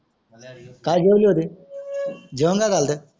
काय जेवले होते जेवण काय झालत